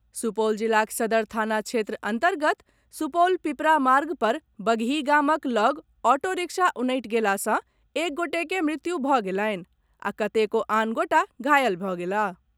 सुपौल जिलाक सदर थाना क्षेत्र अन्तर्गत सुपौल पिपरा मार्ग पर बगही गामक लग ऑटो रिक्शा उनटि गेलासँ एक गोटेक मृत्यु भऽ गेलनि आ कतेको आन गोटा घालय भऽ गेलाह।